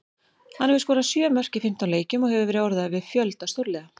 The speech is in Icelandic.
Hann hefur skorað sjö mörk í fimmtán leikjum og hefur verið orðaður við fjölda stórliða.